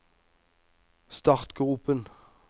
startgropen